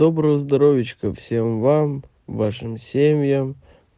доброго здоровьичка всем вам вашим семьям